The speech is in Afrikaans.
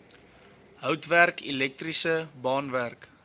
houtwerk elektriese baanwerk